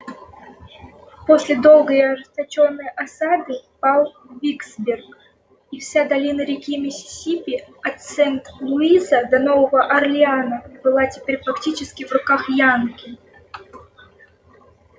после долгой и ожесточённой осады пал виксберг и вся долина реки миссисипи от сент-луиса до нового орлеана была теперь фактически в руках янки